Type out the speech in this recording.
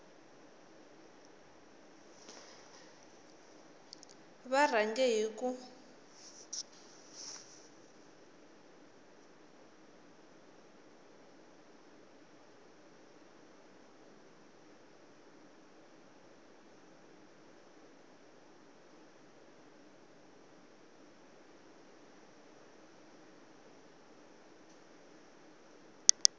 va rhange hi ku n